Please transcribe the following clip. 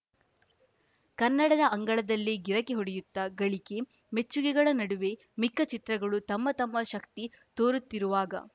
ಕನ್ನಡದ ಅಂಗಳದಲ್ಲೇ ಗಿರಕಿ ಹೊಡೆಯುತ್ತಾ ಗಳಿಕೆ ಮೆಚ್ಚುಗೆಗಳ ನಡುವೆ ಮಿಕ್ಕ ಚಿತ್ರಗಳು ತಮ್ಮ ತಮ್ಮ ಶಕ್ತಿ ತೋರುತ್ತಿರುವಾಗ